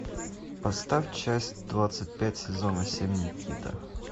поставь часть двадцать пять сезона семь никита